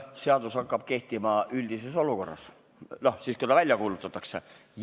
Seadus hakkab kehtima üldises olukorras, siis kui ta välja kuulutatakse.